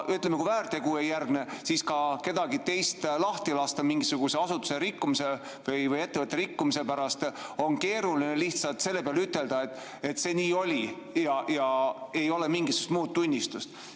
Ütleme, kui väärtegu ei järgne, siis kedagi lahti lasta mingisuguse asutuse rikkumise või ettevõtte rikkumise pärast on keeruline lihtsalt selle peale, kui ütelda, et see nii oli, ja ei ole mingisugust muud tunnistust.